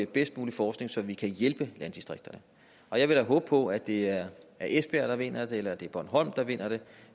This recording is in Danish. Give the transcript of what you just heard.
bedst mulige forskning så vi kan hjælpe landdistrikterne og jeg vil da håbe på at det er esbjerg der vinder det eller at det er bornholm der vinder det